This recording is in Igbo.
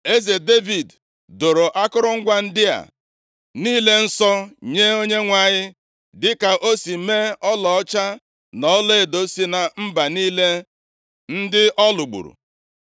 Eze Devid doro akụrụngwa ndị a niile nsọ nye Onyenwe anyị, dịka o si mee ọlaọcha na ọlaedo si na mba niile ndị ọ lụgburu.